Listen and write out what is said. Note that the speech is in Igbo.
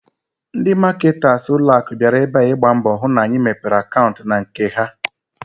Ndị maketas ụlọaku bịara ebe a, ịgba mbọ hụ na anyị mepere akantị n'nke ha